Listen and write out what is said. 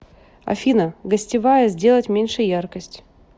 афина гостевая сделать меньше яркость